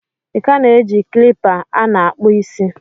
ị ka na-eji kilipa a na-akpụ isi?